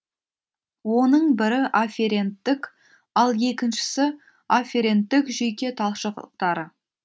оның бірі афференттік ал екіншісі афференттік жүйке талшықтары